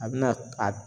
A bɛna a